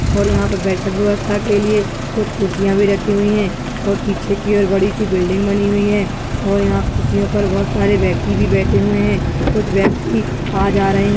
और यहाँ पे बैठक वेवस्था के लिए कुछ कुर्सिया भी रखि हुई है और पीछे की और बड़ी सी बिल्डिंग बनि हुई है और यहापर कुर्सीओपर बोहत सारे वेक्ती भी बैठे हुए है कुछ वेक्ती आ जा रह--